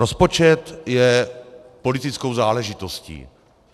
Rozpočet je politickou záležitostí.